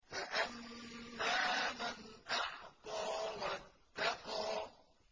فَأَمَّا مَنْ أَعْطَىٰ وَاتَّقَىٰ